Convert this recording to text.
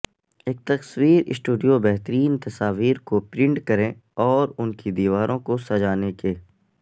ایک تصویر سٹوڈیو بہترین تصاویر کو پرنٹ کریں اور ان کی دیواروں کو سجانے کے